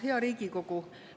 Hea Riigikogu!